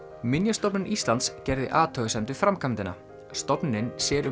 minjastofnun Íslands gerði athugasemd við framkvæmdina stofnunin sér um